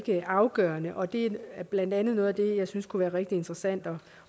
er afgørende og det er blandt andet noget af det jeg synes kunne være rigtig interessant